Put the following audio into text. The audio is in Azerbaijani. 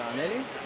Sənəli?